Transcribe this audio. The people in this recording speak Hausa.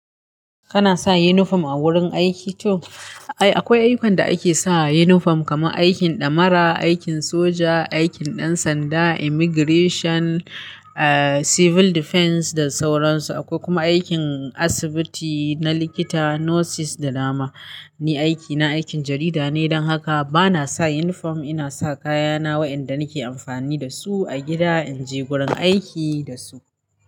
Kana sa uniform a wurin aiki to? Ai akwai aikan da ake saka uniform, kamar aikin damara, aikin soja, aikin ɗan sanda, immigration, eh civil defense da sauran su. Akwai kuma aikin asibiti na likita, nurses da dama. Ni aikina aikin jarida ne don haka bana sa uniform. Ina sa kayana wa'inda nake amfani da su a gida inji gurin aiki da su.